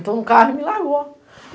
Entrou no carro e me largou.